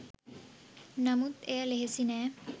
නමුත් එය ලෙහෙසි නෑ